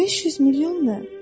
500 milyon nə?